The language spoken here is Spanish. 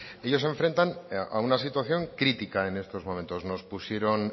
ellos se enfrentan a una situación crítica en estos momentos nos pusieron